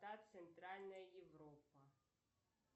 центральная европа